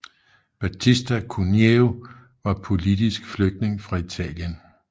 Battista Cuneo var politisk flygtning fra Italien